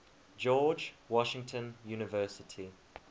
george washington university